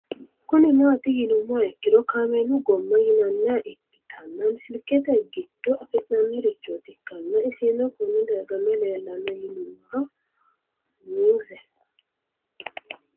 Kuni mati yinumoha ikiro kaamelu gooma yinaniha ikitana silikete gido afina'ni richot ikana isino Kone darga mayi leelanno yinumaro muuze